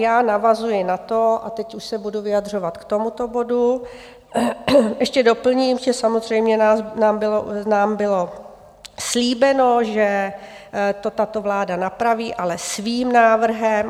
Já navazuji na to - a teď už se budu vyjadřovat k tomuto bodu - ještě doplním, že samozřejmě nám bylo slíbeno, že to tato vláda napraví, ale svým návrhem.